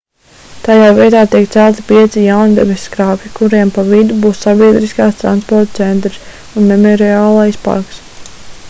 tajā vietā tiek celti pieci jauni debesskrāpji kuriem pa vidu būs sabiedriskā transporta centrs un memoriālais parks